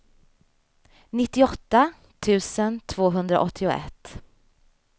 nittioåtta tusen tvåhundraåttioett